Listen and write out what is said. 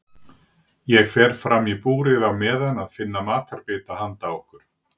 Ég fer fram í búrið á meðan að finna matarbita handa okkur.